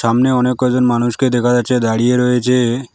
সামনে অনেক কয়জন মানুষকে দেখা যাচ্ছে দাঁড়িয়ে রয়েছে।